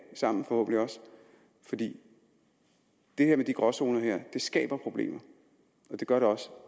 sammen fordi det her med de gråzoner skaber problemer og det gør det også